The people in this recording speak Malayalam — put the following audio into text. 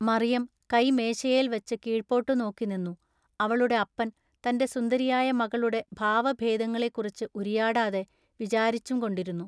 മറിയം കൈ മേശയേൽ വച്ചു കീഴ്പൊട്ടു നോക്കി നിന്നു അവളുടെ അപ്പൻ തന്റെ സുന്ദരിയായ മകളുടെ ഭാവഭേദങ്ങളെക്കുറിച്ചു ഉരിയാടാതെ വിചാരിച്ചുംകൊണ്ടിരുന്നു.